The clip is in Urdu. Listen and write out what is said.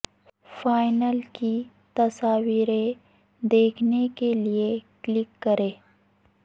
فا ئنل کی تصویریں دیکھنے کے لیے کلک کریں